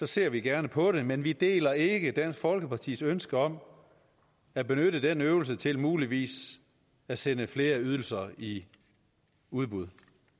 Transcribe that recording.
ser vi gerne på det men vi deler ikke dansk folkepartis ønske om at benytte den øvelse til muligvis at sende flere ydelser i udbud